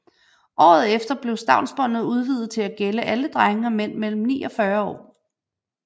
Året efter blev stavnsbåndet udvidet til at gælde alle drenge og mænd mellem ni og 40 år